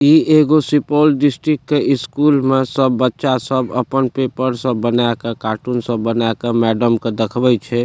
इ एगो सुपौल डिस्ट्रिक्ट के स्कूल में सब बच्चा सब अपन पेपर सब बना के कार्टून सब बना के मैडम के देखबइ छै।